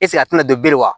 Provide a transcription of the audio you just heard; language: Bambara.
a tɛna don bilen wa